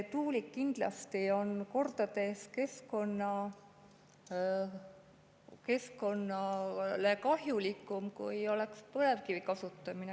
Tuulik on keskkonnale kindlasti kordades kahjulikum, kui oleks põlevkivi kasutamine.